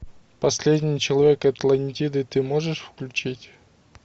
последний человек атлантиды ты можешь включить